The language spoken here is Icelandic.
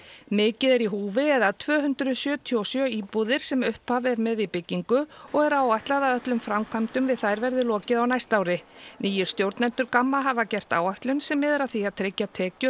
mikið er í húfi eða tvö hundruð sjötíu og sjö íbúðir sem upphaf er með í byggingu og er áætlað að öllum framkvæmdum við þær verði lokið á næsta ári nýir stjórnendur Gamma hafa gert áætlun sem miðar að því að tryggja tekjur